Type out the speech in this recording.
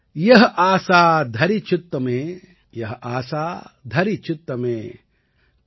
यह आसा धरि चित्त में यह आसा धरि चित्त में